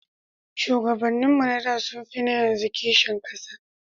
Shugabannin mu na da sun fi na yanzu kishin ƙasa